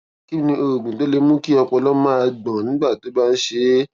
kí ni oògùn tó lè mú kí ọpọlọ máa gbọn tó bá ń ṣe é